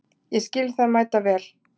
Ég skil það mæta vel.